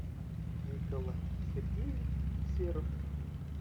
николай сергеевич серов